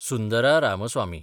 Sundara Ramaswamy